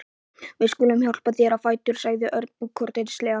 Við skulum hjálpa þér á fætur sagði Örn kurteislega.